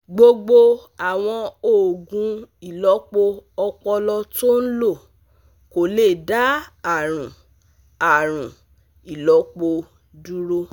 gbogbo àwọn oògùn ìlọ́po ọpọlọ tó ń lò kò lè dá àrùn àrùn ìlọ́po dúró